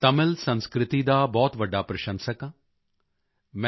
ਮੈਂ ਤਮਿਲ ਸੰਸਕ੍ਰਿਤੀ ਦਾ ਬਹੁਤ ਵੱਡਾ ਪ੍ਰਸ਼ੰਸਕ ਹਾਂ